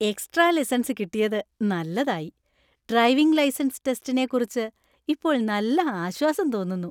Extra lessons കിട്ടിയത് നല്ലതായി! Driving licence ടെസ്റ്റിനെ കുറിച്ച് ഇപ്പോൾ നല്ല ആശ്വാസം തോന്നുന്നു.